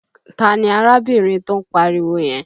Ta ni arábìnrin tó ń pariwo yẹn?